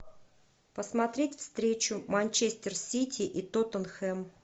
посмотреть встречу манчестер сити и тоттенхэм